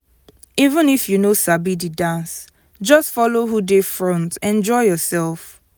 even if you no sabi the dance just follow who dey front enjoy yourself.